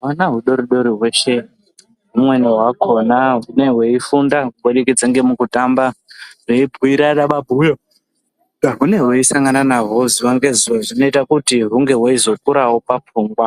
Hwana hudoridori hweshe humweni hwakona hunenge hweifunda kubudikidze ngemukutamba hweibhirana mabhuyo ahunenge hweisangana najwo zuwa ngezuwa zvinoita kuti hunge hweizokurawo papfungwa